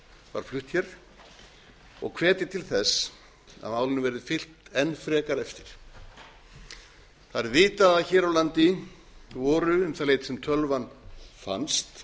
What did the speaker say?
var flutt hér og hvetja til þess að málinu verði fylgt enn frekar eftir vitað er að hér á landi voru um það leyti sem tölvan fannst